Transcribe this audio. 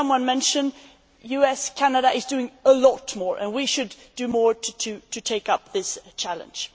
As someone mentioned, the US and Canada are doing a lot more and we should do more to take up this challenge.